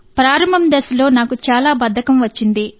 ప్రారంభ దశలో నాకు చాలా బద్ధకం వచ్చింది